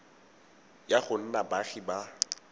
ya go nna baagi ba